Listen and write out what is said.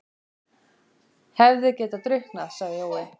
Hefði getað drukknað, sagði Jói.